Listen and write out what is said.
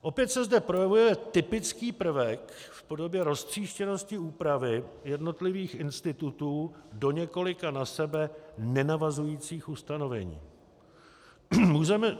Opět se zde projevuje typický prvek v podobě roztříštěnosti úpravy jednotlivých institutů do několika na sebe nenavazujících ustanovení.